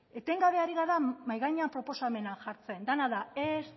etengabe ari gara mahai gainean proposamenak jartzen dena da ez